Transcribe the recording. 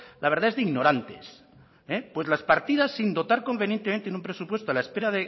la verdad es de ignorantes pues las partidas sin dotar convenientemente en un presupuesto a la espera